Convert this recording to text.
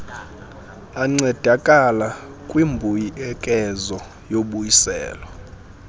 ancedakala kwimbuyekezo yobuyiselo